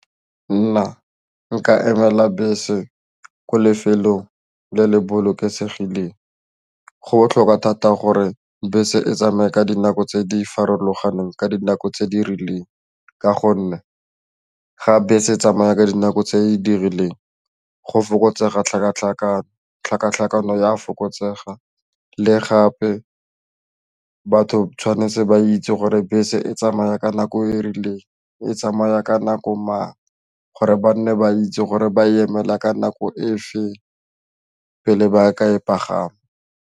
Nna nka emela bese ko lefelong le le bolokesegileng go botlhokwa thata gore bese e tsamaya ka dinako tse di farologaneng ka dinako tse di rileng ka gonne ga bese e tsamaya ka dinako tse di dirileng tlhakatlhakano ya a fokotsega le gape batho tshwanetse ba itse gore bese e tsamaya ka nako e rileng e tsamaya ka nako mang gore ba nne ba itse gore ba emela ka nako fa pele ba ka e pagama.